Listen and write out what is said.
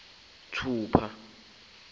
thupha